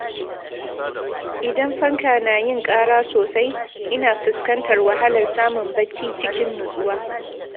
Idan fanka na yin ƙara sosai, ina fuskantar wahalar samun bacci cikin nutsuwa.